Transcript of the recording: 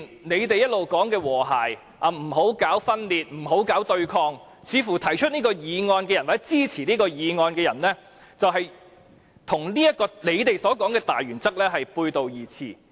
他們一直說要和諧，不要搞分裂，不要搞對抗，但提出譴責議案或支持譴責議案的人，似乎正與他們所說的大原則背道而馳。